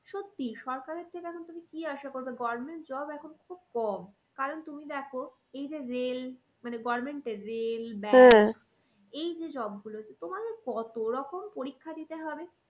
সত্যি সরকারের থেকে এখন তুমি কি আশা করবে government job এখন খুব কম। কারণ তুমি দেখো এই যে rail মানে government এর rail এই যে job গুলো তোমাকে কত রকম পরীক্ষা দিতে হবে